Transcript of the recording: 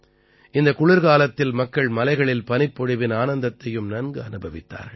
இந்தக் குளிர்காலத்தில் மக்கள் மலைகளில் பனிப்பொழிவின் ஆனந்தத்தையும் நன்கு அனுபவித்தார்கள்